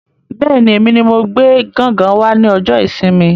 Bẹ́ẹ̀ni, èmi ní mo gbé gángan wá ní ọjọ ìsinmi